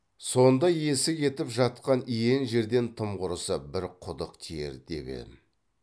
сонда иесі кетіп жатқан иен жерден тым құрыса бір құдық тиер деп ем